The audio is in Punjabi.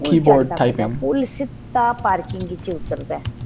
ਪੁੱਲ ਚੱੜਨਾ ਪੈਂਦਾ ਪੁੱਲ ਸਿੱਧਾ parking ਚ ਉਤਰ ਦਾ ਹੈ